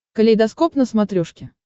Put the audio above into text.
калейдоскоп на смотрешке